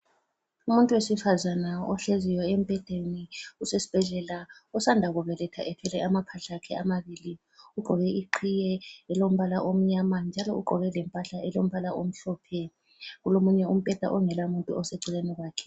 Umuntu wesifazana ohleziyo embhedeni usesibhedlela osanda kubeletha ethwele amaphahla akhe amabili. Ugqoke iqhiye elombala omnyama njalo ugqoke lempahla elombala omhlophe. Kulomunye umbheda ongelamuntu oseceleni kwakhe.